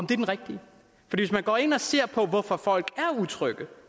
den rigtige hvis man går ind og ser på hvorfor folk er utrygge